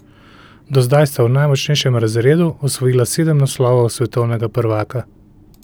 Do zdaj sta v najmočnejšem razredu osvojila sedem naslovov svetovnega prvaka.